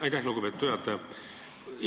Aitäh, lugupeetud juhataja!